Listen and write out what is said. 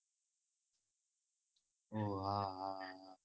હા